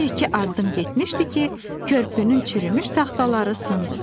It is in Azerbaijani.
Bir-iki addım getmişdi ki, körpünün çürümüş taxtaları sındı.